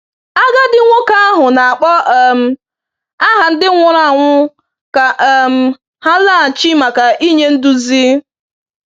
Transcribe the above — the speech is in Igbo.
Agadi nwoke ahụ na-akpọ um aha ndị nwụrụ anwụ ka um ha laghachi màkà inye nduzi.